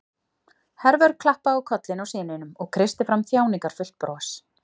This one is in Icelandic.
Hervör klappaði á kollinn á syninum og kreisti fram þjáningarfullt bros.